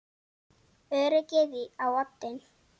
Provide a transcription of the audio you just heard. Öryggið á oddinn!